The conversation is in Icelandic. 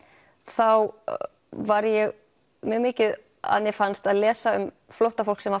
þá var ég mjög mikið að mér fannst að lesa um flóttafólk sem var